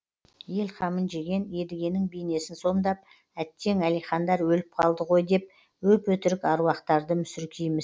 ел қамын жеген едігенің бейнесін сомдап әттең әлихандар өліп қалды ғой деп өп өтірік аруақтарды мүсіркейміз